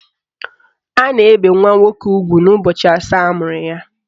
A na-ebe nwa nwoke ugwu n'ụbọchị asaa amụrụ ya.